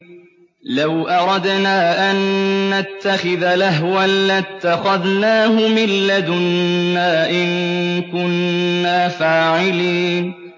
لَوْ أَرَدْنَا أَن نَّتَّخِذَ لَهْوًا لَّاتَّخَذْنَاهُ مِن لَّدُنَّا إِن كُنَّا فَاعِلِينَ